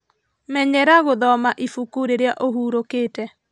Menyera gũthoma ibuku rĩrĩa ũhurũkĩte